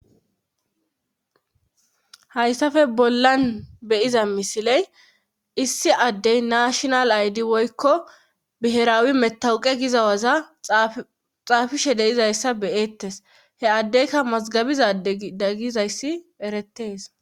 Hayssafe bollan beyiza misiley issi addey naashinal aydi woykko biheraawi metawuqe gizawaza xaafishe deizayssa beyeettes he addeyka mazgabizade daggizayssi erettees.